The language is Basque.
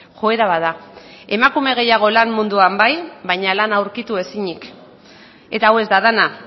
joera bat da emakume gehiago lan munduan bai baina lana aurkitu ezinik eta hau ez da dena